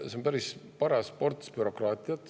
See on päris paras ports bürokraatiat.